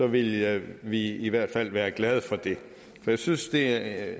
ville vi i hvert fald være glade for det jeg synes at